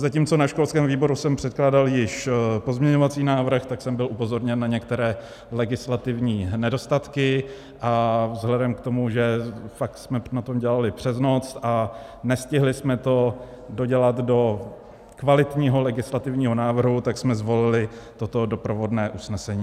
Zatímco na školském výboru jsem předkládal již pozměňovací návrh, tak jsem byl upozorněn na některé legislativní nedostatky a vzhledem k tomu, že fakt jsme na tom dělali přes noc a nestihli jsme to dodělat do kvalitního legislativního návrhu, tak jsme zvolili toto doprovodné usnesení.